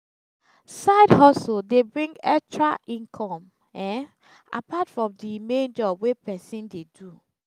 side-hustle de bring etra income um apart from the main job wey persin de do